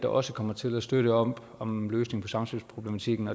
også kommer til at støtte op om en løsning på samspilsproblematikken